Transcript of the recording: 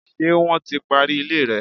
Ṣé wọ́n ti parí ilé rẹ?